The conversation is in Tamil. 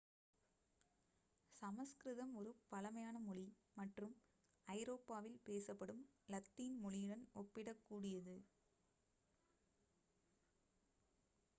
சமஸ்கிருதம் ஒரு பழமையான மொழி மற்றும் ஐரோப்பாவில் பேசப்படும் லத்தீன் மொழியுடன் ஒப்பிடக் கூடியது